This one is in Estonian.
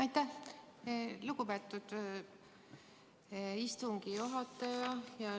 Aitäh, lugupeetud istungi juhataja!